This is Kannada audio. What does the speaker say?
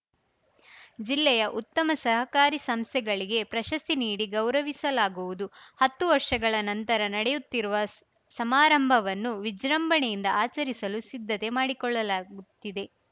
ಜಿಲ್ಲೆಯ ಉತ್ತಮ ಸಹಕಾರಿ ಸಂಸ್ಥೆಗಳಿಗೆ ಪ್ರಶಸ್ತಿ ನೀಡಿ ಗೌರವಿಸಲಾಗುವುದು ಹತ್ತು ವರ್ಷಗಳ ನಂತರ ನಡೆಯುತ್ತಿರುವ ಸಮಾರಂಭವನ್ನು ವಿಜೃಂಭಣೆಯಿಂದ ಆಚರಿಸಲು ಸಿದ್ಧತೆ ಮಾಡಿಕೊಳ್ಳಲಾಗುತ್ತಿದೆ